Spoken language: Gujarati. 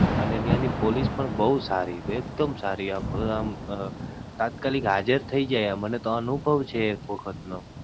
અને ત્યાં ની Police પણ બઉ સારી એક દમ સારી. આમ તાત્કાલિક હાજર થઇ જાય. મને તો અનુભવ છે એક વખત નો.